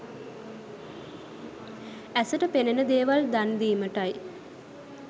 ඇසට පෙනෙන දේවල් දන්දීමටයි.